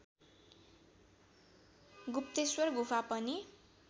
गुप्तेश्वर गुफा पनि